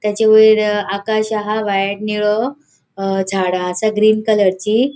ताचे वयर आकाश आह व्हाईट निळो अ झाड़ा असा ग्रीन कलरची .